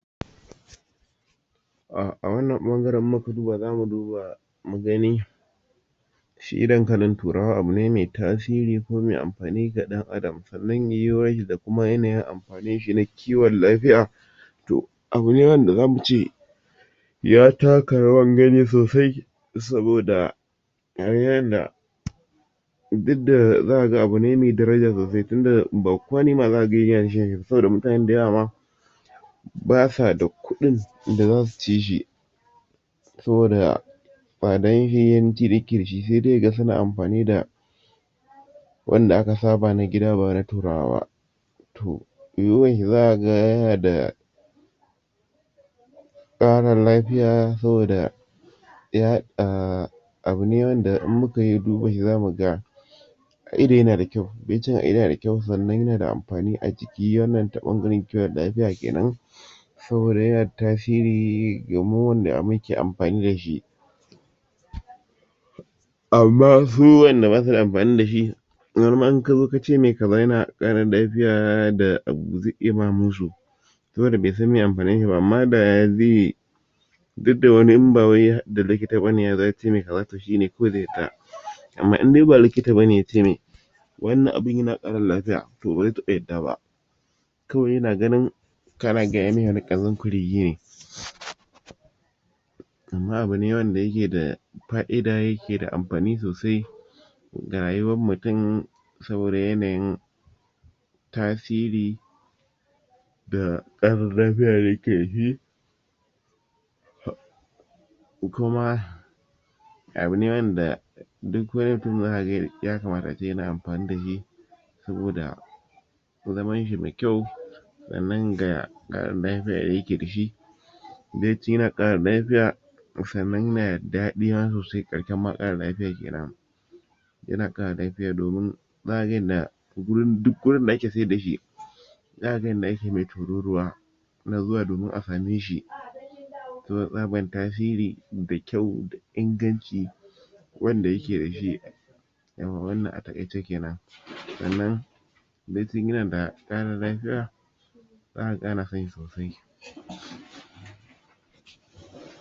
a wannan ɓangaran in muka duba zamu duba mu gani shi dankalin turawa abu ne mai tasiri mai amfani wa ɗan adam sannan yuwuwarshi da yanayin amfaninshi na ciwan lafiya. To abu ne wanda zamu ce ya taka rawan gani sosai saboda duk da za ka ga abu ne mai daraja sosai tunda ba kowa ne ma za ka ga yana saboda mutane da yawa ma ba sa da kuɗin da zasu cishi saboda sai dai yaga suna amfani da wanda aka saba na gida ba na turawa ba.